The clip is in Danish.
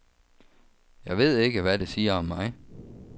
Jeg ved ikke, hvad det siger om mig.